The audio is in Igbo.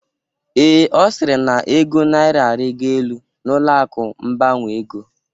Ee, Ọ sịrị na ego naira arịgo elu n'ụlọ akụ mbanwe ego